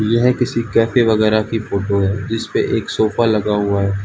यह किसी कैफे वगैरह की फोटो है जिस पे एक सोफा लगा हुआ है।